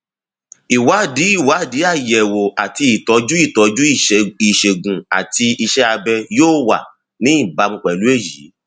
ìwádìí ìwádìí àyẹwò àti ìtọjú ìtọjú ìṣègùn àti iṣẹ abẹ yóò wà ní ìbámu pẹlú èyí